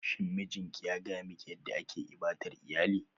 Shin mijinki ya gaya miki yadda ake ibadar iyali?